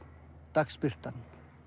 dagsbirtan